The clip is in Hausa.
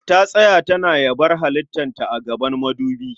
Ta tsaya tana yabar halittar ta a gaban madubi